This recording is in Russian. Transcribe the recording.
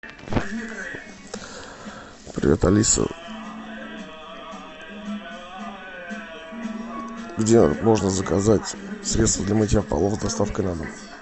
привет алиса где можно заказать средство для мытья полов с доставкой на дом